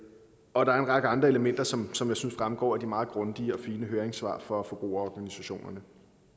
og der en række andre elementer som som jeg synes fremgår af de meget grundige og fine høringssvar fra forbrugerorganisationerne